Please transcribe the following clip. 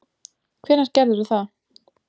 Hvenær gerðirðu það?